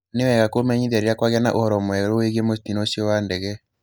Nĩ wega kũmenyithia rĩrĩa kwagĩa na ũhoro mwerũ wĩgiĩ mũtino ũcio wa ndege